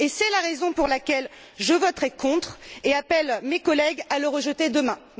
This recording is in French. C'est la raison pour laquelle je voterai contre et j'appelle mes collègues à le rejeter demain.